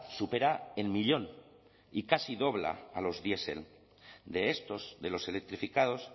supera el millón y casi dobla a los diesel de estos de los electrificados